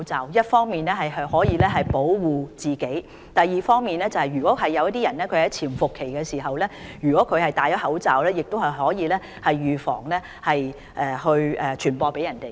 這樣既可以保護自己，而另一方面如患者在潛伏期內戴上口罩，亦可以預防傳染他人。